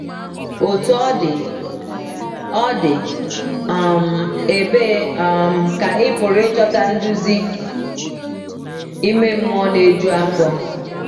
Otú ọ dị, ọ dị, um ebee um ka ị pụrụ ịchọta nduzi ime mmụọ na - eju afọ?